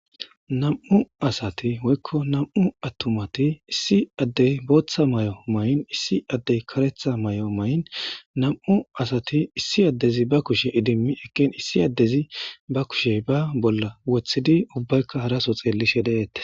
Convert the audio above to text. Nam'u asati woykko namu attumati issi addey booththa may'o mayin issi addey karetha may'o may'in nam'u asati issi addezi ba kushe idimmi ekken issi addezi ba kushe ba bolla wothidi ubbaykka haraso xeellishe de'eette.